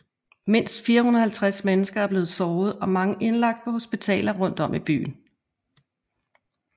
Mindst 450 mennesker er blevet såret og mange indlagt på hospitaler rundt om i byen